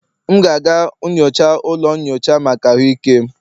M ga-aga nyocha ụlọ nyocha maka ahụike m